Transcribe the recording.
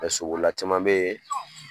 sobolila caman bɛ ye.